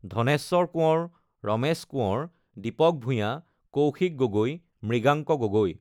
Dhaneswar Konwar Ramesh Konwar Dipak Bhuyan Kaushik Gogoi Mriganka Gogoi